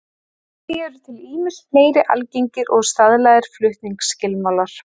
Einnig eru til ýmsir fleiri algengir og staðlaðir flutningsskilmálar.